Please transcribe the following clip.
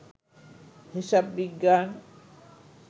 হিসাব বিজ্ঞান